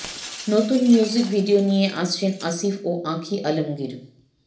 নতুন music video নিয়ে আসছেন আসিফ ও আঁখি আলমগীর